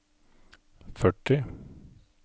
førti